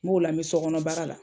B'o la bi sokɔnɔ baara la.